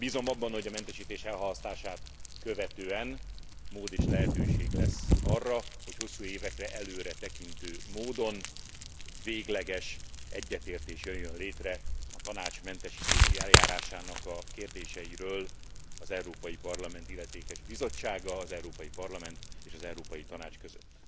Én bízom abban, hogy a mentesítés elhalasztását követően mód és lehetőség lesz arra, hogy hosszú évekre előretekintő módon végleges egyetértés jöjjön létre a Tanács mentesítési eljárásának a kérdéseiről az Európai Parlament illetékes bizottsága, az Európai Parlament és az Európai Tanács között.